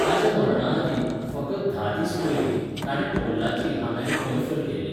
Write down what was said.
ताच्या मरणाआदीं, फकत धा दीस पयलीं, ताणें पोल्लाची हांगां एक मैफल केल्ली.